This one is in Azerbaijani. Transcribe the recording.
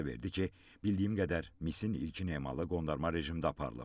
İfadə verdi ki, bildiyim qədər misin ilkin emalı qondarma rejimdə aparılıb.